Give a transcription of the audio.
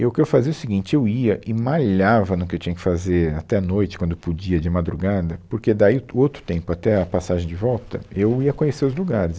E o que eu fazia é o seguinte, eu ia e malhava no que eu tinha que fazer até noite quando podia de madrugada, porque daí o outro tempo até a passagem de volta, eu ia conhecer os lugares.